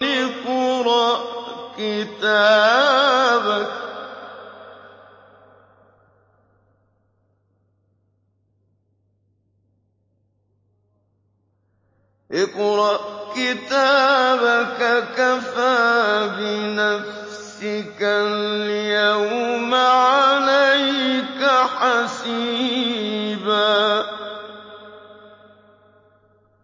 اقْرَأْ كِتَابَكَ كَفَىٰ بِنَفْسِكَ الْيَوْمَ عَلَيْكَ حَسِيبًا